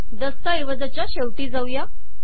दस्तऐवजाच्या शेवटी जाऊया